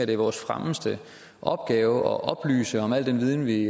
det er vores fremmeste opgave at oplyse om al den viden vi